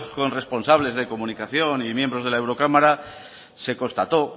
con responsables de comunicación y miembros de la eurocámara se constató